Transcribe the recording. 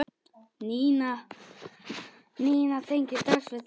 Nína tengir strax við þetta.